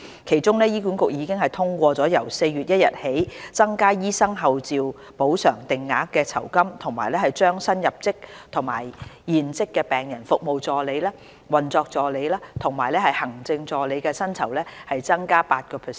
其中，醫管局已通過由4月1日起增加醫生候召補償定額酬金和將新入職與現職病人服務助理、運作助理及行政助理的薪酬增加 8%。